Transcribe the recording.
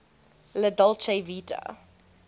la dolce vita